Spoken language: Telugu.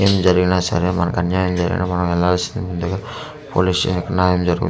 ఏం జరిగిన సరే మనకి అన్యాయం జరిగిన మనం వెళ్లాసిందే కదా పోలీస్ స్టేషన్ కు న్యాయం జరుగుతుంది.